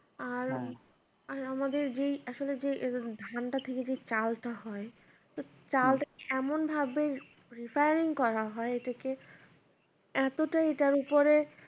আর আমাদের যে আসলে যে ধানটা থেকে যে চালটা হয় তো চালটা এমন ভাবে refine করা হয় এর থেকে এতটাই এটার উপরে